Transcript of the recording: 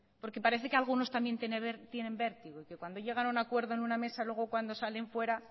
porque parece que algunos también tienen vértigo y que cuando llegan a un acuerdo en una mesa luego cuando salen fuera